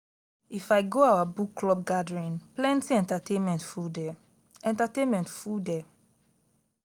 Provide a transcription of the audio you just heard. i go our book club gathering plenty entertainment full there. entertainment full there.